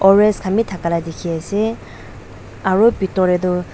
orsl khan bi thakia la dikhi ase aru pitor te tu.